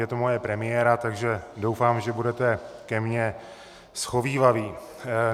Je to moje premiéra, tak doufám, že budete ke mně shovívaví.